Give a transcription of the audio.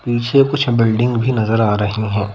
पीछे कुछ बिल्डिंग भी नजर आ रही हैं।